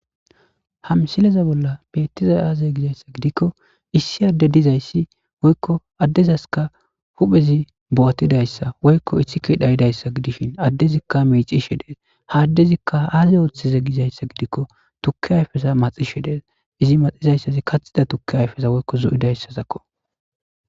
ha msileza bolla beettiza aaze gizayssa gidikko issi adde dizayssi woykko addezaskka huphezi bo7atidayssa woykko ithike dhayidayssa gidishin addezikka meicishe dees ha addezikka aaze ooththeza gizayssa gidikko tukki ayfesa maxishe dees izi maxizayssazi kathida tukki ayfesa woykko zo7idayssazakko